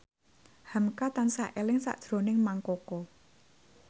hamka tansah eling sakjroning Mang Koko